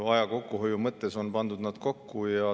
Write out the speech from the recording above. Aja kokkuhoiu mõttes on pandud nad kokku.